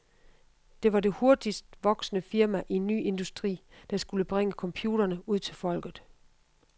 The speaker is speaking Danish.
Det var det hurtigst voksende firma i en ny industri, der skulle bringe computerne ud til folket.